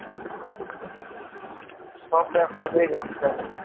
সব ব্যবসাতেই risk থাকবে